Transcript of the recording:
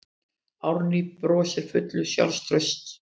Árný brosir full sjálfstrausts.